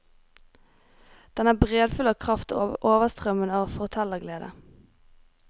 Den er breddfull av kraft og overstrømmende av fortellerglede.